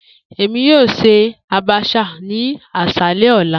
Emi yoo ṣe abacha ni aṣalẹ ọla.